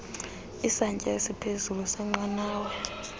isantsya esiphezulu senqanawa